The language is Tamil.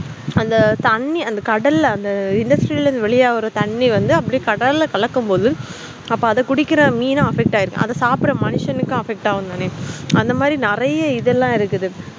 அந்த தண்ணி கடல்ல industry ல இருந்து வெளிய வரும் தண்ணி வந்து கடல்ல கலக்கும்போத அப்போ அத குடிக்குற மீனு affect ஆகிருக்கும்அத சாப்பிடுற மனுஷன் கும் affect கும் தானே நெறைய இதலாம் இருக்கு